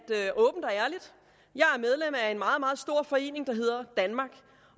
jeg er medlem af en meget meget stor forening der hedder danmark